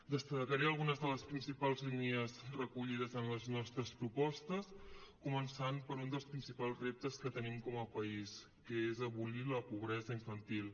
destacaré algunes de les principals línies recollides en les nostres propostes començant per un dels principals reptes que tenim com a país que és abolir la pobresa infantil